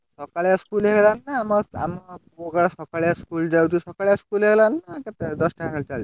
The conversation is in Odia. ସକାଳିଆ school ହେଇଗଲାଣି ନା school ଯାଉଛି ସକାଳିଆ school ହେଇଗଲା ନା କେତବଳେ ଦଶଟା ଏଗାରଟା ବେଳକୁ?